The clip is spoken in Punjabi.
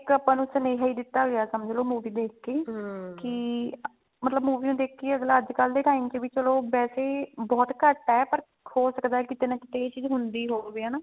ਇੱਕ ਆਪਾਂ ਨੂੰ ਸੁਨੇਹਾ ਹੀ ਦਿੱਤਾ ਗਿਆ ਸਮ੍ਝ੍ਲੋ movie ਦੇਖ ਕੇ ਮਤਲਬ movie ਨੂੰ ਦੇਖ ਕੇ ਹੀ ਅੱਜਕਲ ਦੇ time ਚ ਵੀ ਚਲੋ ਵੇਸੇ ਬਹੁਤ ਘੱਟ ਹੈ ਪਰ ਹੋ ਸਕਦਾ ਕਿਤੇ ਨਾ ਕਿਤੇ ਇਹ ਚੀਜ਼ ਹੁੰਦੀ ਹੋਵੇ